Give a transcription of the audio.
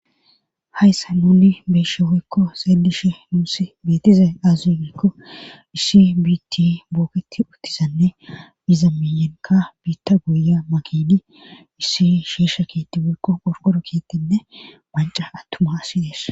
hayssa nuni beeshe hoykko xeelishe nuussi betize aze gikko issi biitti booketi uttizanne iza miyenka biitta guya makidi issi shiisha kietti hoykko porqoro kiettenne banca attumasi ees